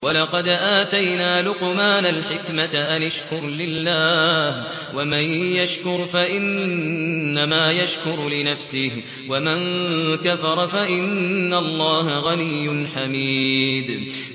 وَلَقَدْ آتَيْنَا لُقْمَانَ الْحِكْمَةَ أَنِ اشْكُرْ لِلَّهِ ۚ وَمَن يَشْكُرْ فَإِنَّمَا يَشْكُرُ لِنَفْسِهِ ۖ وَمَن كَفَرَ فَإِنَّ اللَّهَ غَنِيٌّ حَمِيدٌ